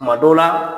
Kuma dɔw la